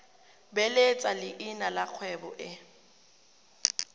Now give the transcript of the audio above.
beeletsa leina la kgwebo e